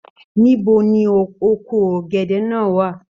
Níbo ní oko ọgẹdẹ náà wà?